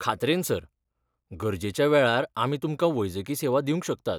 खात्रेन sir. गरजेच्या वेळार आमी तुमकां वैजकी सेवा दिवंक शकतात.